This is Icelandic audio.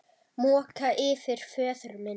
Moka yfir föður minn.